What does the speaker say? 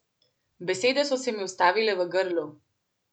Besede so se mi ustavile v grlu.